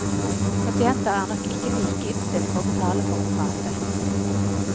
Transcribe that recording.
Pasienter er nok ikke like innstilt på å betale for å prate.